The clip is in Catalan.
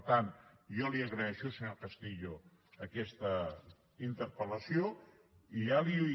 per tant jo li agraeixo senyor castillo aquesta interpel·lació i ja li